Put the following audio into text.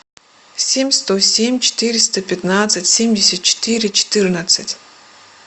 семь сто семь четыреста пятнадцать семьдесят четыре четырнадцать